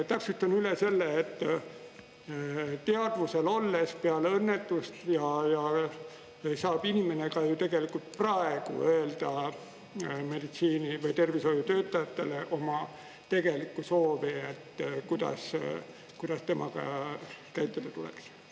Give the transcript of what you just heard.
Täpsustan üle selle, et teadvusel olles peale õnnetust saab inimene ka ju tegelikult praegu öelda meditsiini- või tervishoiutöötajatele oma tegeliku soovi, et kuidas temaga käituda tuleks.